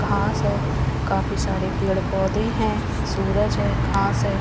घास है काफी सारे पेड़-पौधे हैं सूरज है घास है.